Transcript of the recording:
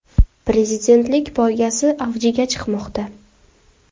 Prezidentlik poygasi avjiga chiqmoqda.